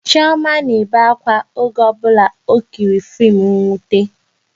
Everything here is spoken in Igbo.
Chioma na-ebe akwa oge ọ bụla ọ kiriri fim nwute